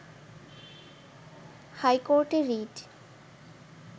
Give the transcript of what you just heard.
হাইকোর্টে রিট